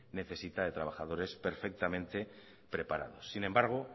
necesita de trabajadores perfectamente preparados sin embargo